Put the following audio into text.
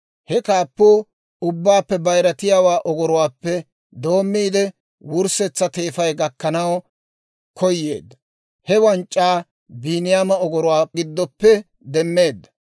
He kaappuu ubbaappe bayiratiyaawaa ogoruwaappe doommiide wurssetsa teefa gakkanaw koyeedda; he wanc'c'aa Biiniyaama ogoruwaa giddoppe demmeedda.